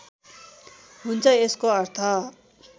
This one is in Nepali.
हुन्छ यसको अर्थ